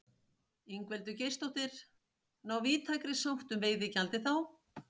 Ingveldur Geirsdóttir: Ná víðtækri sátt um veiðigjaldið þá?